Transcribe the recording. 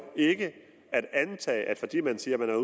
ikke at antage at fordi man siger man har